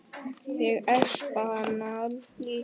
Ég espa hana líka.